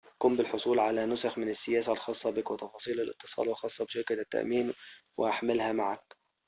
قم بالحصول على نسخٍ من السياسة الخاصة بك وتفاصيل الاتصال الخاصة بشركة التأمين واحملها معك